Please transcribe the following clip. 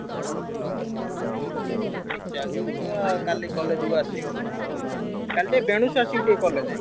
ହଁ ପଢା ପଢି ଠିକ୍ ଚାଲଚି ତ କାଲି college କୁ ଆସିବୁ ତ। କାଲି ଟିକେ ବେଲୁସୁ ଆସିବୁ ଟିକେ college